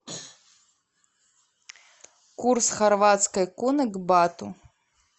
курс хорватской куны к бату